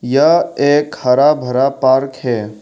यह एक हरा भरा पार्क है।